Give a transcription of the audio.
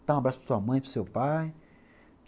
dar um abraço para sua mãe, para o seu pai.